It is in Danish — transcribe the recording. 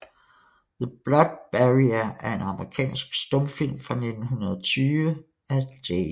The Blood Barrier er en amerikansk stumfilm fra 1920 af J